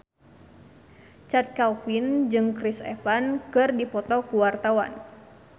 Chand Kelvin jeung Chris Evans keur dipoto ku wartawan